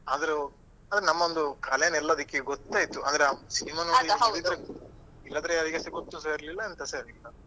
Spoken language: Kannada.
ಆದ್ರು ನಮ್ಮವೊಂದು ಕಲೆನ ಎಲ್ಲದಿಕ್ಕಿಗೂ ಗೊತ್ತಾಯ್ತು ಅಂದ್ರೆ cinema ಇಲ್ಲದಿದ್ರೆ ಯಾರೀಗುಸ ಗೊತ್ತುಸ ಇರ್ಲಿಲ್ಲ ಎಂತಸ ಇರ್ಲಿಲ್ಲ.